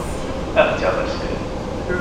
октябрьская